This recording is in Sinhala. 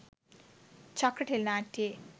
චක්‍ර ටෙලි නාට්‍යයේ